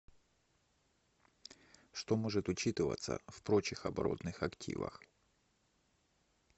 что может учитываться в прочих оборотных активах